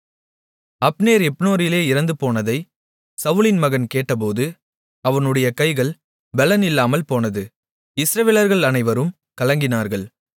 Abner எப்ரோனிலே இறந்துபோனதைச் சவுலின் மகன் கேட்டபோது அவனுடைய கைகள் பெலன் இல்லாமல் போனது இஸ்ரவேலர்கள் அனைவரும் கலங்கினார்கள்